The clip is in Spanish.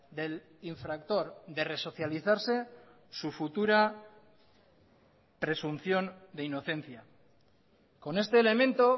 del infractor de resocializarse su futura presunción de inocencia con este elemento